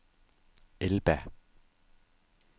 Elba